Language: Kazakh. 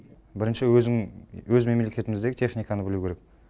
бірінші өзің өз мемлекетіміздегі техниканы білу керек